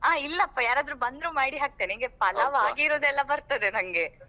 ಆ ಇಲ್ಲಪ್ಪ ಯಾರಾದ್ರೂ ಬಂದ್ರು ಮಾಡಿ ಹಾಕ್ತೇನೆ ನಂಗೆ pulao ಹಾಗಿರೋದೆಲ್ಲ ಬರ್ತದೆ ನಂಗೆ.